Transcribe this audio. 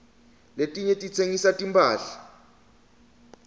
letinye titsengisa timphahla